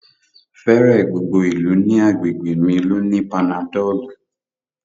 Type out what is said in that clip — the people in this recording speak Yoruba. Fẹẹrẹ gbogbo ilẹ̀ ni àgbégbe mi ló ní panadọlù